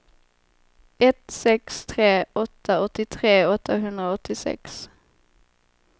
ett sex tre åtta åttiotre åttahundraåttiosex